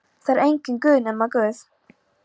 Það er enginn Guð nema Guð.